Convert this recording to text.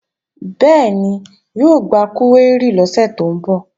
Bẹ́ẹ̀ni, yóò gba kúwérì lọ́sẹ̀ tó ń bọ̀